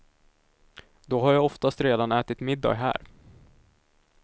Då har jag oftast redan ätit middag här.